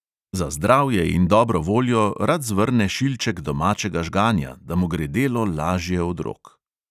Za zdravje in dobro voljo rad zvrne šilček domačega žganja, da mu gre delo lažje od rok.